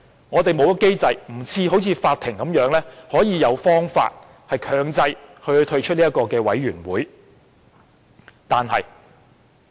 我們沒有機制，不像法庭般有方法強制他退出專責委員會。